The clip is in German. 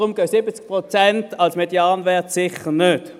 Deshalb gehen 70 Prozent als Medianwert sicher nicht.